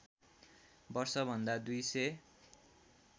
वर्षभन्दा २ सय